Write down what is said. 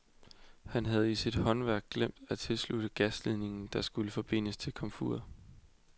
Han havde i sit hastværk glemt at tilslutte en gasledning, der skulle forbindes til et komfur.